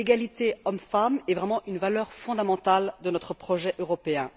L'égalité hommes femmes est vraiment une valeur fondamentale de notre projet européen.